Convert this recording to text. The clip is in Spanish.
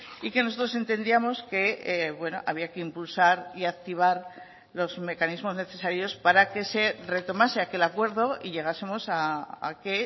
y que nosotros entendíamos que había que impulsar y activar los mecanismos necesarios para que se retomase aquel acuerdo y llegásemos a que